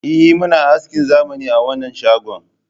Eh muna askin zamani a wanan shagon